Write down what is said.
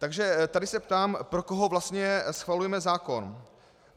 Takže tady se ptám, pro koho vlastně schvalujeme zákon.